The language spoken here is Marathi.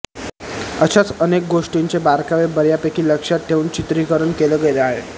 अशाच अनेक गोष्टींचे बारकावे बर्यापैकी लक्षात ठेवून चित्रीकरण केलं गेलंय